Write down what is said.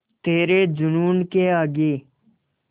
तेरे जूनून के आगे